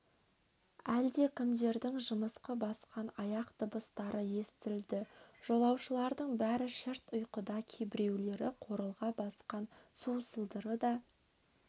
әлдекімдердің жымысқы басқан аяқ дыбыстары естілді жолаушылардың бәрі шырт ұйқыда кейбіреулері қорылға басқан су сылдыры да